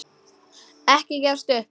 Ekki gefast upp.